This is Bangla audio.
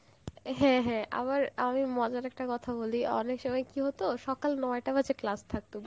হ্যাঁ হ্যাঁ আবার আমি মজার একটা কথা বলি অনেক সময় কি এত সকাল নয়টা বাজে ক্লাস থাকতো